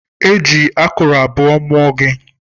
I ji akụrụ abụọ mụọ.